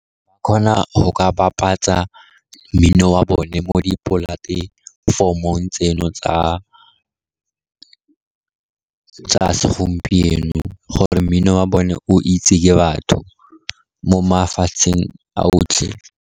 Ba kgona go bapatsa mmino wa bone mo dipolatefomong tseno tsa segompieno gore mmino wa bone o itse ke batho mo mafatsheng a otlhe.